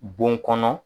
Bon kɔnɔ